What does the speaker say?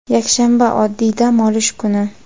yakshanba – odatiy dam olish kuni.